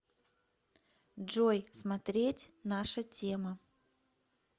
джой смотреть наша тема